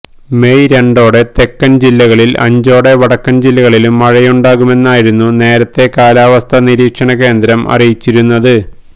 May രണ്ടോടെ തെക്കന് ജില്ലകളിലും അഞ്ചോടെ വടക്കന് ജില്ലകളിലും മഴയുണ്ടാകുമെന്നായിരുന്നു നേരത്തേ കാലാവസ്ഥാനിരീക്ഷണകേന്ദ്രം അറിയിച്ചിരുന്നത്